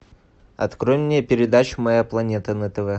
открой мне передачу моя планета на тв